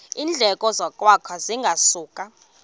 iindleko zokwakha zingasuka